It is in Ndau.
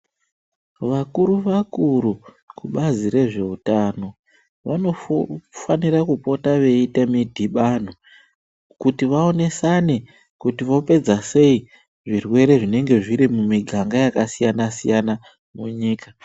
Vakuru vakuru kubazi rezveutano vanofanira kupota veiite midhibano, kuti vaonesane kuti vopedza sei zvirwere zvinenge zvirimumiganga yakasiyana siyana munyika.